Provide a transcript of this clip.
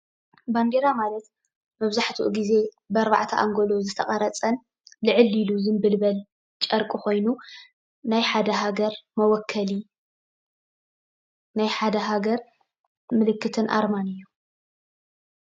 ባንዴራ ማለት መብዛሕትኡ ግዜ ብ ኣርባዕተ አንጎሎ ዝተቐረፀን ልዕል ኢሉ ዝንብልበል ጨርቂ ኮይኑ ናይ ሓደ ሃገር መወከሊ፤ ናይ ሓደ ሃገር ምልክትን አርማን እዩ።